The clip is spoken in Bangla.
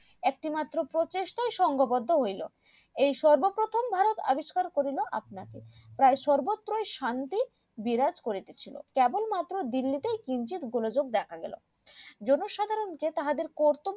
একটি মাত্র প্রচেষ্টায় সঙ্গবদ্ধ হইলো এই সর্বপ্রথম ভারত আবিষ্কার করিলো আপনাকে প্রায় সর্বত্রই শান্তি বিরাজ করিতেছিল কেবল মাত্র দিল্লী তেই কিঞ্চিৎ উপলজোক দেখাগেলো জনসাধারণ যে তাহাদের কর্তব্য